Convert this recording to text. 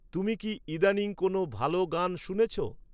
তুমি কি ইদানীং কোনও ভাল গান শুনেছো?